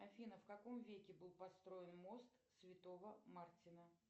афина в каком веке был построен мост святого мартина